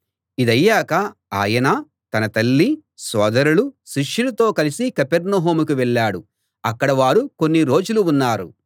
ఇదయ్యాక ఆయన తన తల్లీ సోదరులూ శిష్యులతో కలిసి కపెర్నహూముకు వెళ్ళాడు అక్కడ వారు కొన్ని రోజులు ఉన్నారు